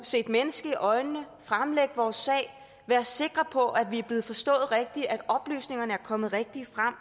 se et menneske i øjnene fremlægge vores sag og være sikre på at vi er blevet forstået rigtigt og at oplysningerne er kommet rigtigt frem